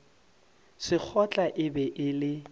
sekgotla e be e le